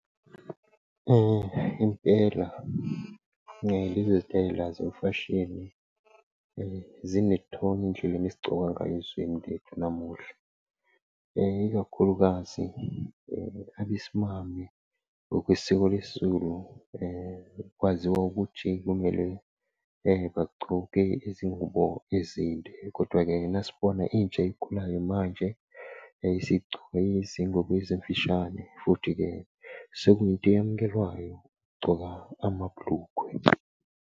Impela lezi zitayela zemfashini zinethonya endleleni esigcoka ngayo ezweni lethu namuhla, ikakhulukazi abesimame ngokwesikho lesiZulu kwaziwa ukuthi kumele bagcoke izingubo ezinde. Kodwa-ke, nasibona intsha ekhulayo manje isigcoka izingubo ezimfishane futhi-ke sekuyinto eyamukelwayo ukugcoka amabhulukwe.